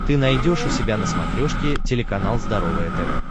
ты найдешь у себя на смотрешке телеканал здоровое тв